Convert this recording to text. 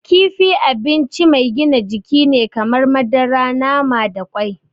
Kifi abinci mai gina jiki ne kamar madara, nama da kwai.